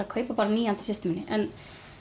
að kaupa nýja handa systur minni en